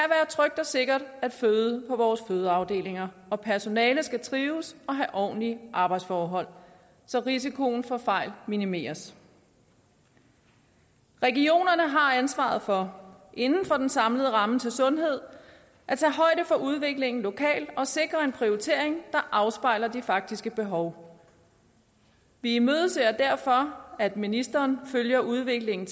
trygt og sikkert at føde på vores fødeafdelinger og personalet skal trives og have ordentlige arbejdsforhold så risikoen for fejl minimeres regionerne har ansvaret for inden for den samlede ramme til sundhed at tage højde for udviklingen lokalt og sikre en prioritering der afspejler de faktiske behov vi imødeser derfor at ministeren følger udviklingen